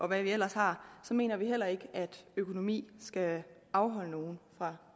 man ellers har så mener vi heller ikke at økonomien skal afholde nogen fra